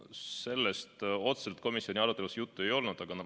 Sellest otseselt komisjoni aruteludes juttu ei olnud.